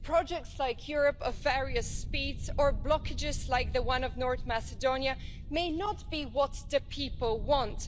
Projects like a Europe of various speeds or blockages like the one of North Macedonia may not be what the people want.